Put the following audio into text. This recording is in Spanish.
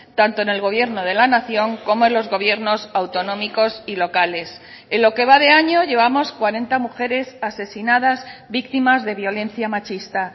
tanto en el gobierno de la nación como en los gobiernos autonómicos y locales en lo que va de año llevamos cuarenta mujeres asesinadas víctimas de violencia machista